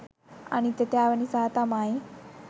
අනිත්‍යතාව නිසා තමයි